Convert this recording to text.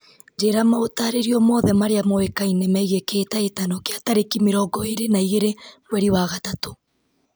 njĩra maũtarĩrio mothe marĩa moĩkaine megiĩ kĩhĩtahĩtano kĩa tarĩki mĩrongo ĩĩrĩ na igĩrĩ mweri wa gatatũ